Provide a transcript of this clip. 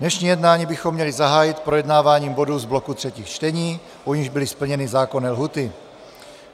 Dnešní jednání bychom měli zahájit projednáváním bodů z bloku třetích čtení, u nichž byly splněny zákonné lhůty.